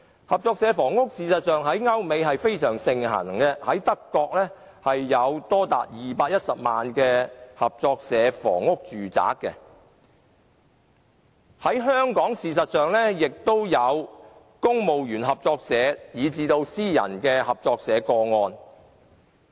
合作社房屋在歐美非常盛行，德國有多達210萬個合作社房屋住宅，而香港也有公務員合作社，亦有私人合作社的個案。